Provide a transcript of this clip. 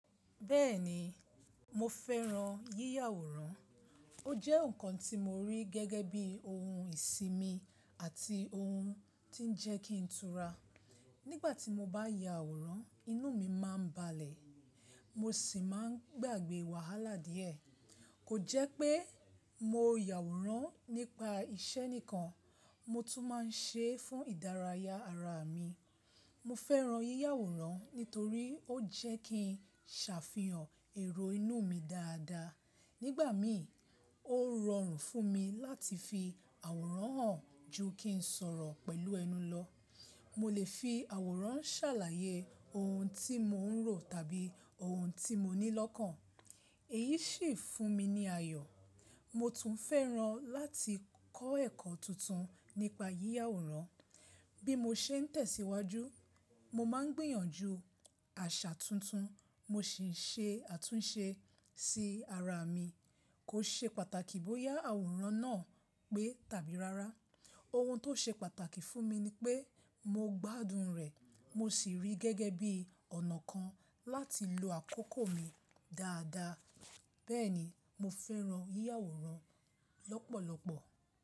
Bẹ́ẹ̀ni, mo fẹ́ran yíya àwòrán. Ó jẹ́ ǹkan tí mo rí gẹ́gẹ́ bí ohun ìsimi àti ohun ti ń jẹ́ kí n tura. Nígbà tí mo bá ya àwòrán, inú mi máa ń balẹ̀, mo sì máa ń gbàgbẹ́ wàhálà díẹ̀. Kò jẹ́ pé mo ya àwòrán nípa iṣẹ́ nìkan, mo tún máa ń ṣe é fún ìdárayá ara mi. Mo fẹ́ran yíya àwòrán nítorí ó jẹ́ kí ń ṣàfihàn èrò inú mi dáadáa. Nígbà mi, ó rọrùn fún mi láti fi àwòrán hàn ju kí ń sọ̀rọ̀ pẹ̀lú ẹnu lọ. Mo lè fi àwòrán ṣàlàyé ohun tí mo ń rò tàbí ohun tí mo ní lọ́kàn, èyí sì ń fún mi ní ayọ̀. Mo tún fẹ́ran láti kọ́ ẹ̀kọ́ tuntun nípa yíya àwòrán. Bí mo ṣe ń tẹ̀síwájú, mo máa ń gbìyànjú àṣà tuntun mo sì ń ṣe àtúnṣe sí ara mi. Kò ṣe pàtàkì bóyá àwòrán náà pé tàbí rárá, ohun tó ṣe pàtàkì fún mi ni pé mo gbádùn rẹ̀ mo sì rí i gẹ́gẹ́ bí ọ̀nà kan láti lo àkókò mi dáadáa. Bẹ́ẹ̀ni, mo fẹ́ran yíya àwòrán lọ́pọ̀lọpọ̀.